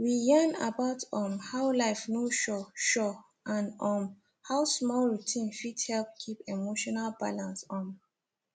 we yarn about um how life no sure sure and um how small routine fit help keep emotional balance um